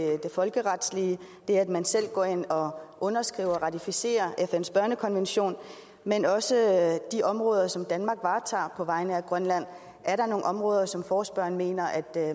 folkeretslige det at man selv går ind og underskriver ratificerer fns børnekonvention men også de områder som danmark varetager på vegne af grønland er der nogle områder som forespørgerne mener at